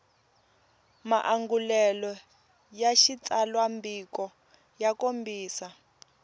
maangulelo ya xitsalwambiko ya kombisa